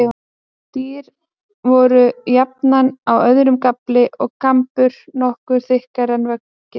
Dyr voru jafnan á öðrum gafli, og kampur nokkru þykkri en veggir.